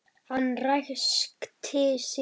Hann ræskti sig.